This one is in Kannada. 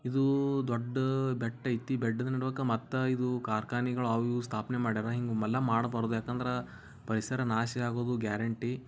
ಇದು ದೊಡ್ಡ್ ಬೆಟ್ಟಾಯಿತು ಬೆಟ್ಟದ ಮಟ್ಟ ಕರ್ಣಗಳು ಅವು ಸ್ಥಾಪನೆ ಮಾಡಿದರೆ ಅವಲ್ಲ ಮಾಡ್ಬಾರ್ದು ಏಕೆಂದ್ರೆ ಪರಿಸರ ನಾಶ ಆಗುವುದು ಗ್ಯಾರಂಟೀ